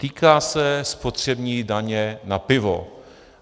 Týká se spotřební daně na pivo.